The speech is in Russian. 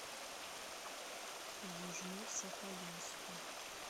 южно сахалинску